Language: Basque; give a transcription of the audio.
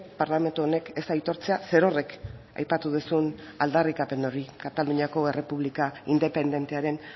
parlamentu honek ez aitortzea zerorrek aipatu duzun aldarrikapen hori kataluniako errepublika independentearen